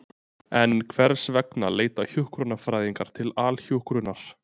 En hvers vegna leita hjúkrunarfræðingar til Alhjúkrunar?